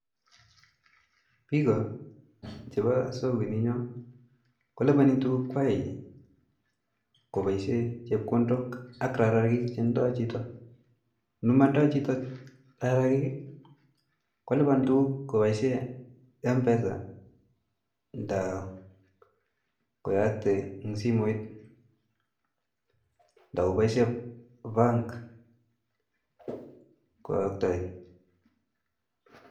Piko chepo sokoini nyo kolipani tukuk kwai kopaishe chepkondot ak rarakik che ndaoi chito, nemandoi chito rarakik kolipan tukuk kopaishe mpesa nda koyakte eng simoit nda kupaishe bank koyaikte